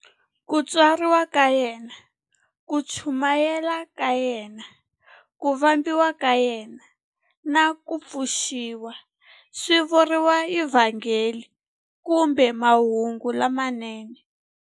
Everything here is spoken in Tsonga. Ku tswariwa ka yena, ku chumayela ka yena, ku vambiwa ka yena, na ku pfuxiwa swi vuriwa eVhangeli kumbe Mahungu lamanene.